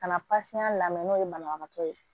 Ka na lamɛn n'o ye banabagatɔ ye